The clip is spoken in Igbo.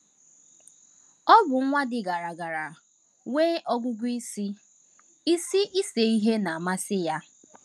Ọ bụ nwa dị gara gara, nwee ọgụgụ isi, isi, ise ihe na - amasịkwa ya.